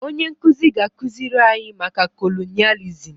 Onye nkuzi ga-akụziri anyị maka kolonịalizim